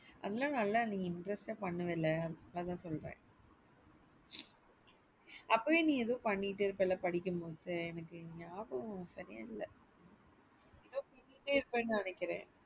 அல்ல நல்லா ந interest ஆ பண்ணுவேல அத சொல்றேன் அப்போவே நீ பண்ணிட்டே இருப்பேல படிக்கும் போதே எனக்கு ஞாபகம் சரியா இல்ல. என்னமோ பண்ணிடே இருப்ப னு நினைக்குறேன்.